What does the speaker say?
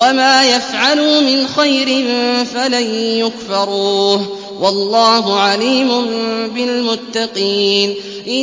وَمَا يَفْعَلُوا مِنْ خَيْرٍ فَلَن يُكْفَرُوهُ ۗ وَاللَّهُ عَلِيمٌ بِالْمُتَّقِينَ